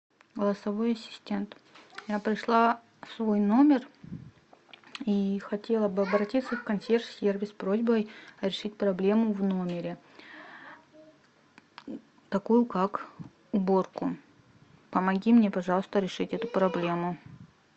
голосовой ассистент я пришла в свой номер и хотела бы обратиться в консьерж сервис с просьбой решить проблему в номере такую как уборку помоги мне пожалуйста решить эту проблему